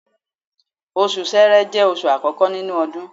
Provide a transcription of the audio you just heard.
Osù ṣẹrẹ jẹ́ oṣù àkọ́kọ́ nínú odun